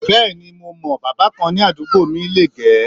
Bẹ́ẹ̀ni mo mọ̀ọ́, bábà kan ní àdúgbò mi lè -gẹ̀ ẹ́